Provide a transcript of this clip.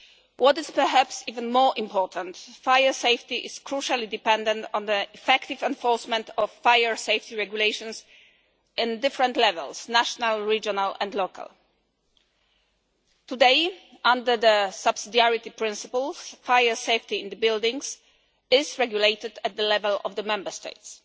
What is perhaps even more important, fire safety is crucially dependent on the effective enforcement of fire safety regulations at different levels, national, regional and local. Today, under the subsidiarity principles, fire safety in buildings is regulated at the level of the Member States.